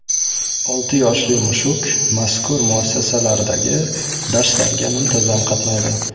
Olti yoshli mushuk mazkur muassasalardagi darslarga muntazam qatnaydi.